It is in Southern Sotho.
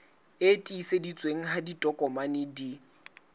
e tiiseditsweng ha ditokomane di